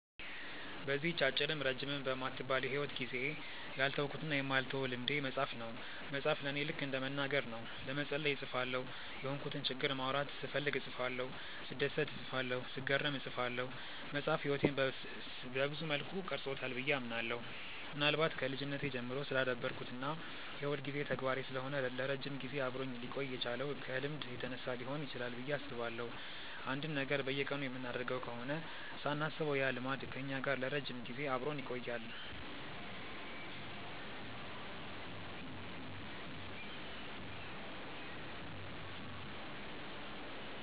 በዚህች አጭርም ረጅምም በማትባል የሂወት ጊዜዬ ያልተውኩትና የማልተወው ልምዴ መጻፍ ነው። መጻፍ ለኔ ልከ እንደ መናገር ነው። ለመጸለይ እጽፋለሁ፤ የሆንኩትን ችግር ማውራት ስፈልግ እጽፋለሁ፤ ስደሰት እጽፋለሁ፤ ስገረም እጽፋለሁ። መጻፍ ህይወቴን ሰብዙ መልኩ ቀርጾታል ብዬ አምናለሁ። ምናልባት ከልጅነቴ ጀምሮ ስላዳበርኩት እና የሁልጊዜ ተግባሬ ስለሆነ ለረጅም ጊዜ አብሮኝ ሊቆይ የቻለው ከልምድ የተነሳ ሊሆን ይችላል ብዬ አስባለሁ። አንድን ነገር በየቀኑ የምናደርገው ከሆነ ሳናስበው ያ ልማድ ከኛ ጋር ለረጅም ጊዜ አብሮን ይቆያል።